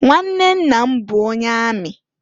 Nwanne nna m bụ onye amị.